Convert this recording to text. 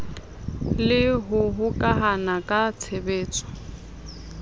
le ho hokahana ka tshebetso